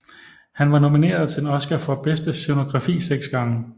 Han var nomineret til en Oscar for bedste scenografi seks gange